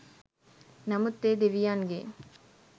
නමුත් ඒ දෙවියන්ගේ